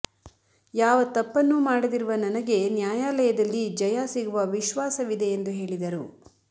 ಯಾವ ತಪ್ಪನ್ನೂ ಮಾಡದಿರುವ ನನಗೆ ನ್ಯಾಯಾಲಯದಲ್ಲಿ ಜಯ ಸಿಗುವ ವಿಶ್ವಾಸವಿದೆ ಎಂದು ಹೇಳಿದರು